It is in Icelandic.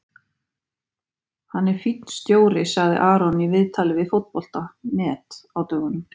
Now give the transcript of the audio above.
Hann er fínn stjóri, sagði Aron í viðtali við Fótbolta.net á dögunum.